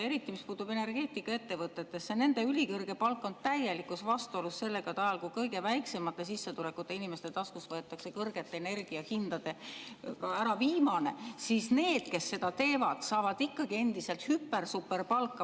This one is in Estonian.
Eriti, mis puutub energeetikaettevõtetesse, nende ülikõrge palk on täielikus vastuolus sellega, et ajal, kui kõige väiksemate sissetulekutega inimeste taskust võetakse kõrgete energiahindadega ka ära viimane, siis need, kes seda teevad, saavad ikkagi endiselt hüper-superpalka.